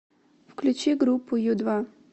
включи группу ю два